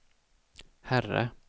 herre